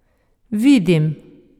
Vidim!